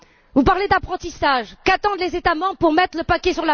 Vous parlez d'apprentissage, qu'attendent les États membres pour y mettre le paquet?